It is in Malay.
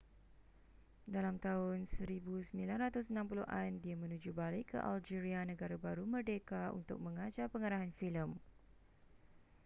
dalam tahun 1960an dia menuju balik ke algeria negara baru merdeka untuk mengajar pengarahan filem